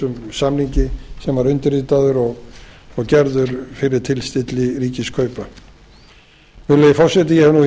samningi sem var undirritaður og gerður fyrir tilstilli ríkiskaupa virðulegi forseti ég hef nú í